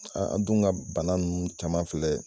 Aa dun ka bana nunnu caman filɛ